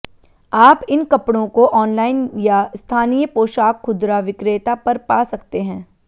आप इन कपड़ों को ऑनलाइन या स्थानीय पोशाक खुदरा विक्रेता पर पा सकते हैं